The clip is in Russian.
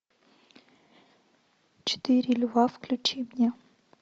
четыре льва включи мне